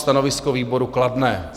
Stanovisko výboru: kladné.